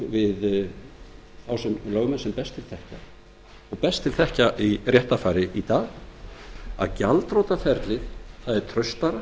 þá lögmenn sem best til þekkja og best til þekkja í réttarfari í dag að gjaldþrotaskiptaferlið er traustara